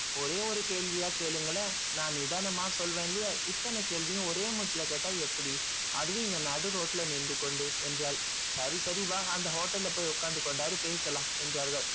ஒரே ஒரு கேள்வியா கேளுங்களேன் நான் நிதானமா சொல்வேன் இல்லையா இத்தனை கேள்வியும் ஒரே மூச்சில கேட்டா எப்படி அதுவும் இந்த நடுரோட்டில நின்று கொண்டு என்றாள் சரி சரி வா அந்த hotel ல போய் உட்கார்ந்து கொண்டாது பேசலாம் என்றார்கள்